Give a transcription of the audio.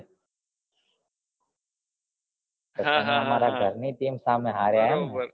તમે તમાર ઘર ની team સામે હરિયા એમ